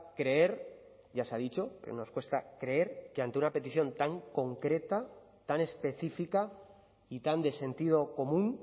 creer ya se ha dicho que nos cuesta creer que ante una petición tan concreta tan específica y tan de sentido común